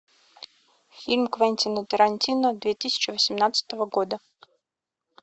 фильм квентина тарантино две тысячи восемнадцатого года